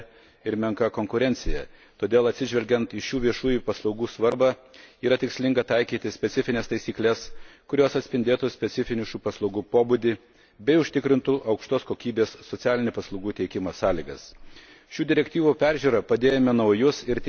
Šiuose sektoriuose tebėra didelė rinkos koncentracija ir menka konkurencija, todėl, atsižvelgiant į šių viešųjų paslaugų svarbą, yra tikslinga taikyti specifines taisykles, kurios atspindėtų specifinį šių paslaugų pobūdį bei užtikrintų aukštos kokybės socialinių paslaugų teikimo sąlygas.